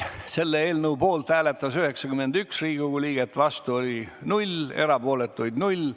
Selle eelnõu poolt hääletas 91 Riigikogu liiget, vastu oli null, erapooletuid null.